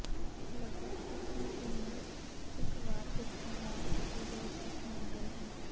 ਲਗਭਗ ਇੱਕ ਮਹੀਨੇ ਇਕ ਵਾਰ ਉੱਥੇ ਨਵ ਅਤੇ ਦਿਲਚਸਪ ਮਾਡਲ ਹਨ